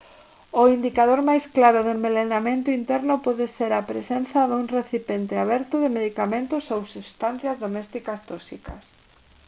o indicador máis claro de envelenamento interno pode ser a presenza dun recipiente aberto de medicamentos ou sustancias domésticas tóxicas